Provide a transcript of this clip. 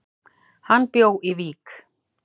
Hann bjó í Vík.